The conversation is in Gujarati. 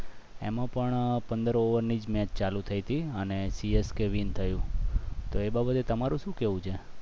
એમાં પણ પંદર over ની જ match ચાલુ થઈ ટી અને સી એસ કે win થયું તો એ બાબતે તમારે શું કહેવું છે